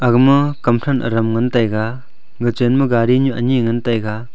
aga ma kam than aram ngan taiga ga chen ma gari nyu anyi ngan taiga.